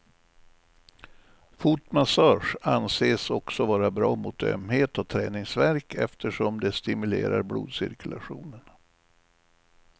Fotmassage anses också vara bra mot ömhet och träningsvärk eftersom det stimulerar blodcirkulationen.